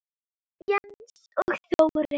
Jens og Þórey.